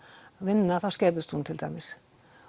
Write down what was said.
vinna þá skerðist hún til dæmis